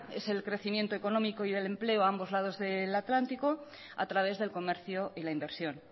es el crecimiento económico y el empleo a ambos lados del atlántico a través del comercio y la inversión